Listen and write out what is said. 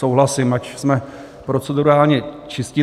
Souhlasím, ať jsme procedurálně čistí.